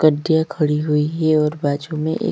गड्डिया खड़ी हुई है और बाजु में एक--